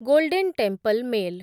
golden temple mail